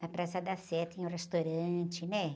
Na Praça da Sé tinha um restaurante, né?